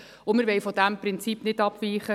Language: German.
Wir wollen von diesem Prinzip nicht abweichen.